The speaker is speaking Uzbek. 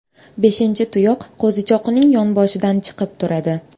Beshinchi tuyoq qo‘zichoqning yonboshidan chiqib turadi.